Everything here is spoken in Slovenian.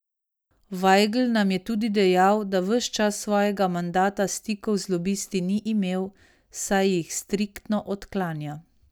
Vajgl nam je tudi dejal, da ves čas svojega mandata stikov z lobisti ni imel, saj jih striktno odklanja.